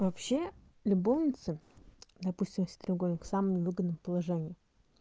вообще любовницы допустим если треугольник с самым выгодным положением